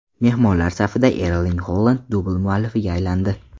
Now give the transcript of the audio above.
Mehmonlar safida Erling Holand dubl muallifiga aylandi.